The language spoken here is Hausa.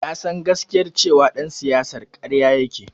Ya san gaskiyar cewar ɗan siyasar karya yake.